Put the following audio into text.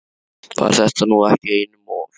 Var þetta nú ekki einum of?